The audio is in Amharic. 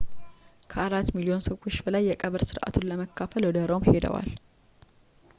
ከአራት ሚሊዮን ሰዎች በላይ የቀብር ስነ ስርዓቱን ለመካፈል ወደ ሮም ሄደዋል